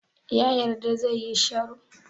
Ya yarda zai yi sharo?